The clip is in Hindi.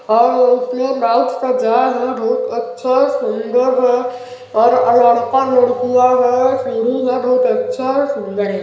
और वो बहुत अच्छा सुन्दर है और मुर्तियाँ है सीड़ी है बहुत अच्छा सुन्दर है।